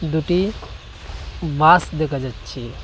দুটি বাস দেখা যাচ্চে ।